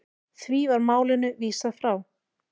Því var málinu vísað frá.